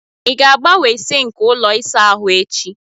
Ị ga-agbanwe sinki ụlọ ịsa ahụ echi?